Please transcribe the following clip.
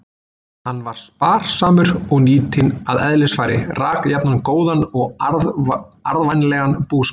Hann var spar- samur og nýtinn að eðlisfari, rak jafnan góðan og arðvænlegan búskap.